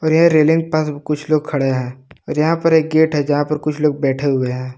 ये रेलिंग पास कुछ लोग खड़े है और यहां पर एक गेट है जहां पर कुछ लोग बैठे हुए हैं।